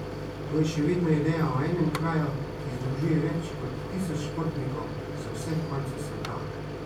To je še vedno ideja o enem kraju, ki združuje več kot tisoč športnikov z vseh koncev sveta.